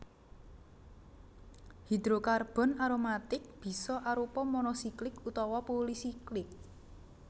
Hidrokarbon aromatik bisa arupa monosiklik utawa pulisiklik